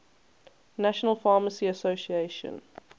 national pharmacy association